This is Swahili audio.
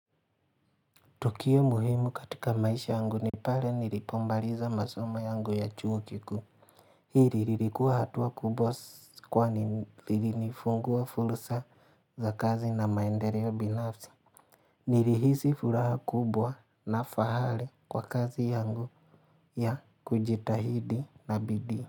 Tukio muhimu katika maisha yangu ni pale nilipo maliza masoma yangu ya chuo kikuu. Hili lilikuwa hatua kubwa kwani lilifungua fursa za kazi na maendeleo binafsi. Nilihisi furaha kubwa na fahali kwa kazi yangu ya kujitahidi na bidii.